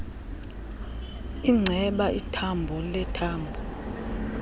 inceba ithambo lethambo